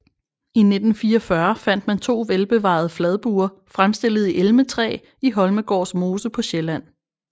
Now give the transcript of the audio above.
I 1944 fandt man to velbevarede fladbuer fremstillet i elmetræ i Holmegårds mose på Sjælland